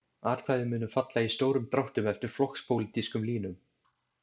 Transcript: Atkvæði mundu falla í stórum dráttum eftir flokkspólitískum línum.